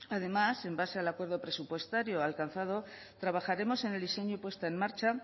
además en base al acuerdo presupuestario alcanzado trabajaremos en el diseño y puesta en marcha